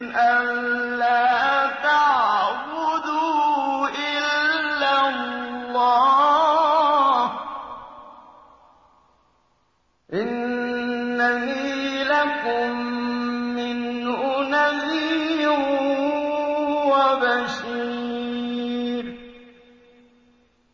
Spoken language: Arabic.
أَلَّا تَعْبُدُوا إِلَّا اللَّهَ ۚ إِنَّنِي لَكُم مِّنْهُ نَذِيرٌ وَبَشِيرٌ